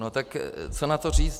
No tak co na to říct?